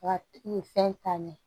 Ka nin fɛn ta ɲɛ